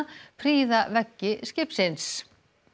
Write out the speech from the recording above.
prýða veggi skipsins